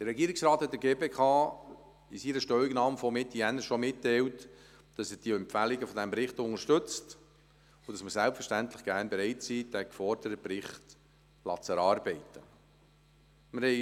Der Regierungsrat hat der GPK in seiner Stellungnahme von Mitte Januar schon mitgeteilt, dass er die Empfehlungen des Berichts unterstützt und dass wir selbstverständlich gerne bereit sind, den geforderten Bericht erarbeiten zu lassen.